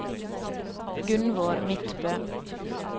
Gunnvor Midtbø